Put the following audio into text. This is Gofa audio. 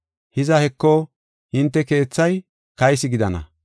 Hiza, heko, hinte keethay kaysi gidana.